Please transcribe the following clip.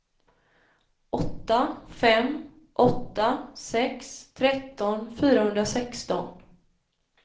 åtta fem åtta sex tretton fyrahundrasexton